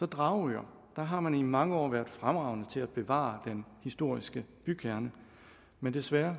dragør der har man i mange år været fremragende til at bevare den historiske bykerne men desværre